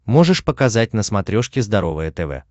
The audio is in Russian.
можешь показать на смотрешке здоровое тв